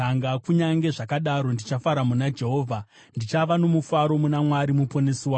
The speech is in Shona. kunyange zvakadaro, ndichafara muna Jehovha, ndichava nomufaro muna Mwari Muponesi wangu.